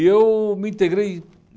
E eu me integrei.